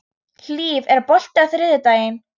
Hlíf, er bolti á þriðjudaginn?